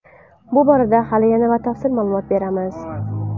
Bu borada hali yana batafsil ma’lumot beramiz.